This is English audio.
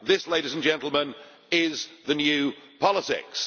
This, ladies and gentlemen, is the new politics.